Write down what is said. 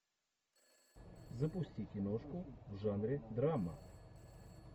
запусти киношку в жанре драма